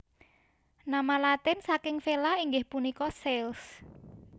Nama Latin saking Vela inggih punika sails